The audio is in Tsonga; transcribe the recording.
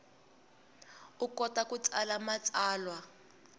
u kota ku tsala matsalwa